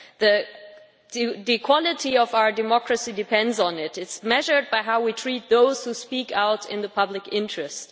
The quality of our democracy depends on it that quality is measured by how we treat those who speak out in the public interest.